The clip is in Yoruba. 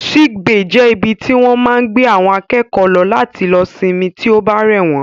Sick bay jẹ́ ibi tí wọ́n máa ń gbé àwọn akẹ́kọ̀ọ́ lọ láti lọ sinmi tí ó bá rẹ̀ wọ́n